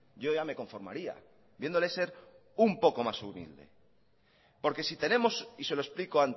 yo ya me conformaría viéndole ser un poco más humilde porque si tenemos y se lo explico